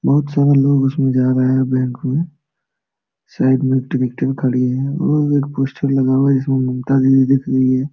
बहुत सारा लोग उसमें जा रहा है बैंक में साइड में एक ट्रैक्टर खड़ी है और एक पोस्टर लगा हुआ है जिसमें ममता दीदी दिख रही है ।